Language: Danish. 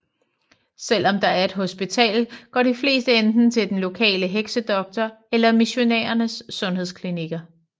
Selv om der er et hospital går de fleste enten til den lokale heksedoktor eller missionærernes sundhedsklinikker